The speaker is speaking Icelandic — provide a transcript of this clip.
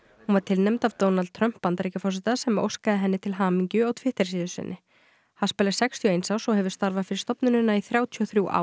hún var tilnefnd af Donald Trump Bandaríkjaforseta sem óskaði henni til hamingju á Twitter síðu sinni haspel er sextíu og eins árs og hefur starfað fyrir stofnunina í þrjátíu og þrjú ár